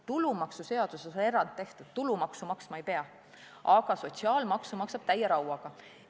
Tulumaksuseaduses on erand tehtud, tulumaksu maksma ei pea, aga sotsiaalmaksu maksab täie rauaga.